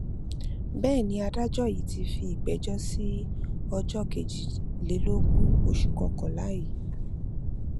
bẹẹ ni adájọ yìí ti fi ìgbẹjọ sí ọjọ kejìlélógún oṣù kọkànlá yìí